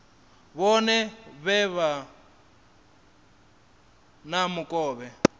vhone vha vhe na mukovhe